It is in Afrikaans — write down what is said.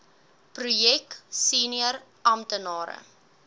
projek senior amptenare